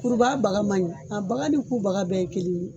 Kurubaga baga man ɲi a baga ni ku baga bɛɛ ye kelen ye.